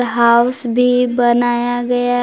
house भी बनाया गया--